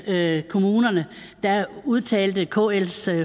med kommunerne udtalte kls